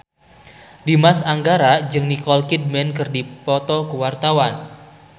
Dimas Anggara jeung Nicole Kidman keur dipoto ku wartawan